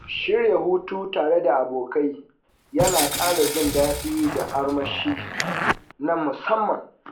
Shirya hutu tare da abokai yana ƙara jin daɗi da armashi na musamman.